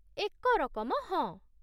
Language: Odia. ଏକ ରକମ, ହଁ।